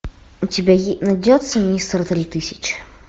у тебя найдется мистер три тысячи